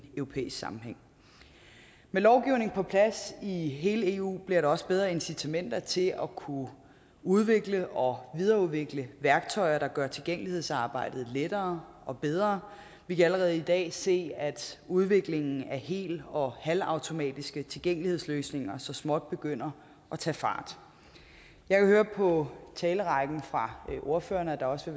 europæisk sammenhæng med lovgivningen på plads i hele eu bliver der også bedre incitamenter til at kunne udvikle og videreudvikle værktøjer der gør tilgængelighedsarbejdet lettere og bedre vi kan allerede i dag se at udviklingen af hel og halvautomatiske tilgængelighedsløsninger så småt begynder at tage fart jeg kan høre på talerækken fra ordførerne at der også